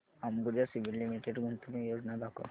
Ambuja cement limited गुंतवणूक योजना दाखव